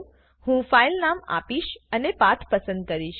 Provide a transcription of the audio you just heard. હું ફાઈનલ નામ આપીશ અને પાથ પસંદ કરીશ